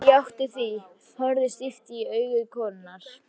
Ég játti því, horfði stíft í augu konunnar.